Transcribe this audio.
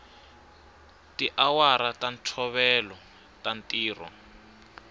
tiawara ta ntolovelo ta ntirho